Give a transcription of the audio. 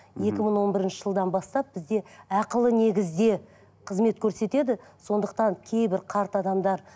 екі мың он бірінші жылдан бастап бізде ақылы негізде қызмет көрсетеді сондықтан кейбір қарт адамдар